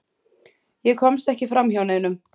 Ég komst ekki framhjá neinum.